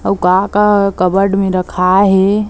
अउ का -का कबर्ड में रखाए हे।